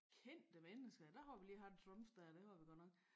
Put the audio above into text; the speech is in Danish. Kendte mennesker der har vi lige haft Trump dér det var vel godt nok